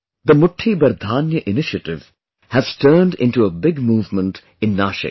The 'Mutthi Bhar Dhaanya' initiative has turned into a big movement in Nashik